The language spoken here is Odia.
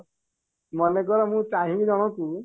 ମନେକର ମୁଁ ଚାହିଁବି ଜଣକୁ